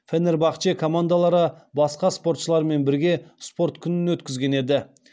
фенербахче командалары басқа спортшылармен бірге спорт күнін өткізген еді